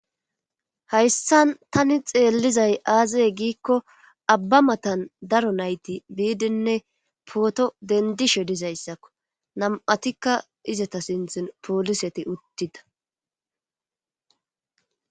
hayssan tani xeellizay aaze giikko abba matan daro nayti biidinne pooto dendishe dizayssakko nam7atikka izata sinthin pooliseti uttida